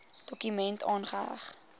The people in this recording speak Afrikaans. dokument aangeheg